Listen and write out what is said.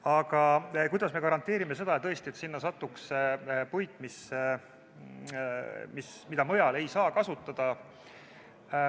Aga kuidas me garanteerime seda, tõesti, et sinna satuks puit, mida mujal ei saa kasutada?